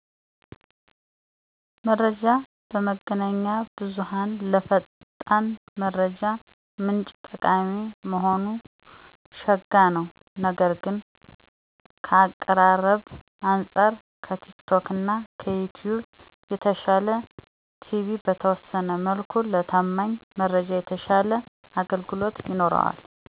መረጃ በመገናኛ ብዙሃን ለፈጣን መረጃ ምንጭ ጠቃሚ መሆኑ ሸጋ ነው። ነገር ግን ከአቀራረብ አንጻር ከቲክቶክና ከዩትዩብ የተሻለ ቲቪ በተወሠነ መልኩ ለታማኝ መረጃ የተሻለ አገልግሎት ይኖረዋል።